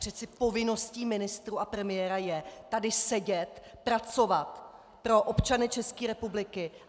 Přeci povinností ministrů a premiéra je tady sedět, pracovat pro občany České republiky.